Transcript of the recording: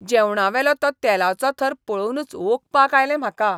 जेवणावेलो तो तेलाचो थर पळोवनूच ओंकपाक आयलें म्हाका.